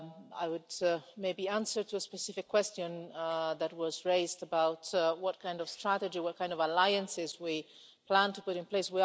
I would maybe answer a specific question that was raised about what kind of strategy and what kind of alliances we plan to put in place.